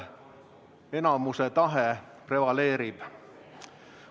Enamuse tahe prevaleerib.